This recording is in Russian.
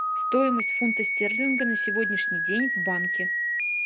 стоимость фунта стерлинга на сегодняшний день в банке